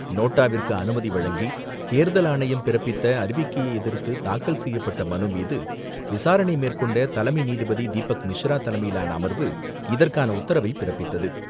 நோட்டாவிற்கு அனுமதி வழங்கி தேர்தல் ஆணையம் பிறப்பித்த அறிவிக்கையை எதிர்த்து தாக்கல் செய்யப்பட்ட மனுமீது, விசாரணை மேற்கொண்ட தலைமை நீதிபதி தீபக் மிஸ்ரா தலைமையிலான அமர்வு இதற்கான உத்தரவை பிறப்பித்தது.